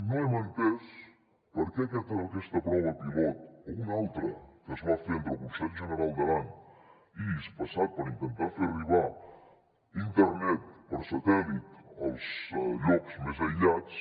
no hem entès per què aquesta prova pilot o una altra que es va fer entre el consell general d’aran i hispasat per intentar fer arribar internet per satèl·lit als llocs més aïllats